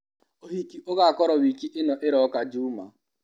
ũhiki ũgakorwo wiki ĩno ĩroka juma.